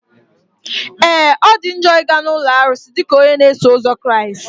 Ee! Ọ dị njọ ị ga na ụlọ arụsị dịka onye na-eso ụzọ Kraịst.